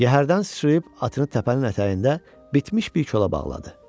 Yəhərdən sıçrayıb atını təpənin ətəyində bitmiş bir kola bağladı.